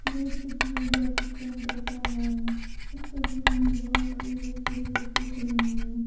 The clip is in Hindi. यह तस्वीर बस स्टैंड जैसा है इस तस्वीर में बहुत सारी बड़ी बड़ी बसे खड़ी हैं।